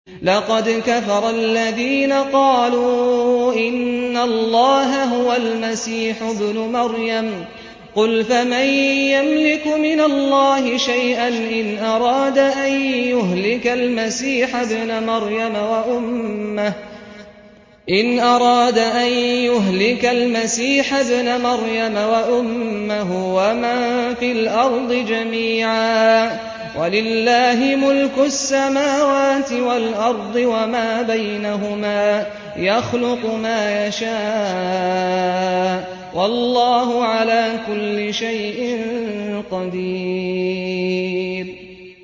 لَّقَدْ كَفَرَ الَّذِينَ قَالُوا إِنَّ اللَّهَ هُوَ الْمَسِيحُ ابْنُ مَرْيَمَ ۚ قُلْ فَمَن يَمْلِكُ مِنَ اللَّهِ شَيْئًا إِنْ أَرَادَ أَن يُهْلِكَ الْمَسِيحَ ابْنَ مَرْيَمَ وَأُمَّهُ وَمَن فِي الْأَرْضِ جَمِيعًا ۗ وَلِلَّهِ مُلْكُ السَّمَاوَاتِ وَالْأَرْضِ وَمَا بَيْنَهُمَا ۚ يَخْلُقُ مَا يَشَاءُ ۚ وَاللَّهُ عَلَىٰ كُلِّ شَيْءٍ قَدِيرٌ